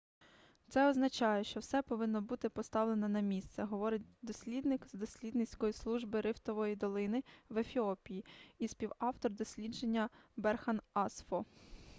це означає що все повинно бути поставлено на місце - говорить дослідник з дослідницької служби рифтової долини в ефіопії і співавтор дослідження берхан асфо